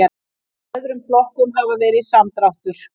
Í öðrum flokkum hafi verið samdráttur